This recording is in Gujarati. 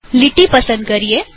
લીટી પસંદ કરો